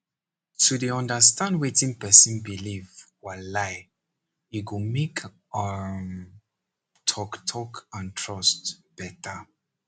to dey understand wetin person believe walai e go make um talk talk and trust better